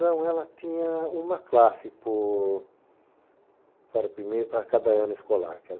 Não, ela tinha uma classe por para primeiro para cada ano escolar.